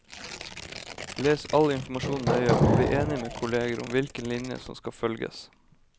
Les all informasjon nøye og bli enig med kolleger om hvilken linje som skal følges.